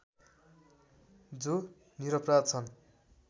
जो निरपराध छन्